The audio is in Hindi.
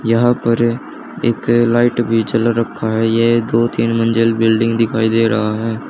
यहां पर एक लाइट भी जल रखा है ये दो तीन मंजिल बिल्डिंग दिखाई दे रहा है।